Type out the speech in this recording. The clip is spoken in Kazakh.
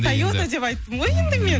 тойота деп айттым ғой енді мен